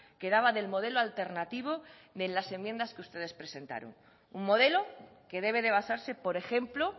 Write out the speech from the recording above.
quedaba del modelo alternativo de las enmiendas que ustedes presentaron un modelo que debe de basarse por ejemplo